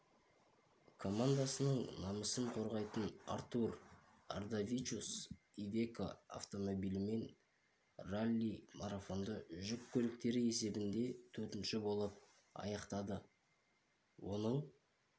командасының намысын қорғайтын артур ардавичус ивеко автомобилімен ралли-марафонды жүк көліктері есебінде төртінші болып аяқтады оның